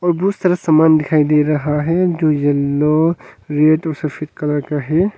और बहुत सारा सामान दिखाई दे रहा है जो येलो रेड और सफेद कलर का है।